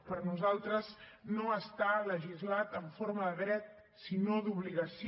per nosaltres no està legislat en forma de dret sinó d’obligació